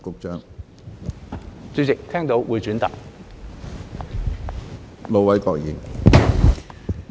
主席，聽到，會轉達。